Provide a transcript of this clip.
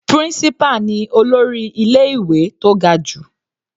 Principal ni olórí ilé ìwé tó ga jù.